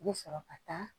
I bɛ sɔrɔ ka taa